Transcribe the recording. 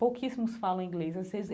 Pouquíssimos falam em inglês.